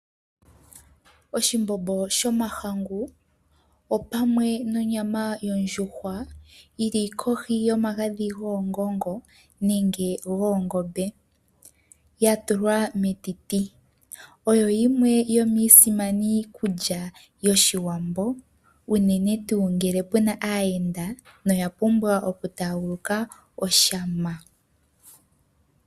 Oshimbombo shomahangu opamwe nonyama yondjuhwa yili kohi yomagadhi goongongo nenge goongombe yatulwa metiti, oyo yimwe yimwe yomiisimanikulya yoshiwambo unene tuu ngele pena aayenda opo ya taaguluke oshama.